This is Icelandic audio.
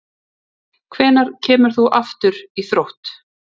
Hvenær kemur þú aftur í Þrótt?